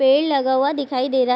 पेड़ लगा हुआ दिखाई दे रहा है।